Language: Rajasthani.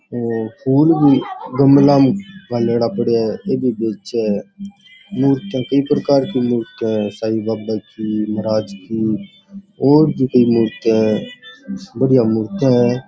और फूल भी गमला में गाल्योड़ा पड़िया है ए भी बेचे मुर्तिया कई प्रकार की मुर्तिया है साई बाबा की महराज की और भी कई मुर्तिया है बढ़िया मुर्तिया है।